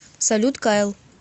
салют кайл